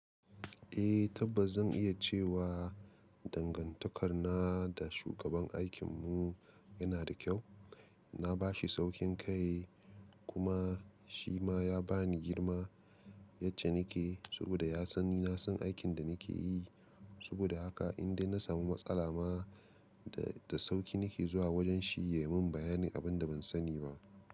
Eh tabbas zan iya cewa dangantakar na da shugaban aikin mu yana da kyau. Na bashi saukin kai kuma shi ma ya bani girma yace nake saboda ya san ni na san aikin da nake yi. Saboda haka in dai na samu matsala ma da sauki nake zuwa wajen shi ya mun bayanin abin da ban sani ba.